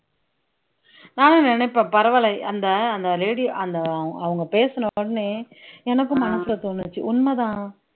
நானும் நினைப்பேன் பரவாயில்லை அந்த அந்த lady அந்த அவங்க பேசின உடனே எனக்கும் மனசுல தோணுச்சு உண்மைதான்